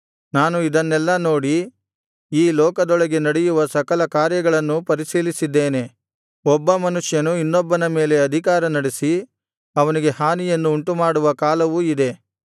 ನಾನು ಇದನ್ನೆಲ್ಲಾ ನೋಡಿ ಈ ಲೋಕದೊಳಗೆ ನಡೆಯುವ ಸಕಲ ಕಾರ್ಯಗಳನ್ನೂ ಪರಿಶೀಲಿಸಿದ್ದೇನೆ ಒಬ್ಬ ಮನುಷ್ಯನು ಇನ್ನೊಬ್ಬನ ಮೇಲೆ ಅಧಿಕಾರ ನಡೆಸಿ ಅವನಿಗೆ ಹಾನಿಯನ್ನು ಉಂಟುಮಾಡುವ ಕಾಲವೂ ಇದೆ